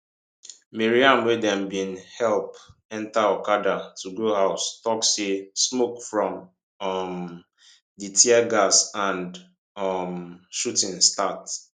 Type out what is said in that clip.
maryam wey dem bin help enta okada to go house tok say smoke from um di tear gas and um shooting start